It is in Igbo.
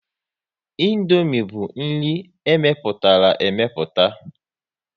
Indomie bụ nri e mepụtara emeputa